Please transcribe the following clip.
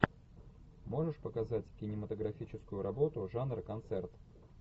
можешь показать кинематографическую работу жанр концерт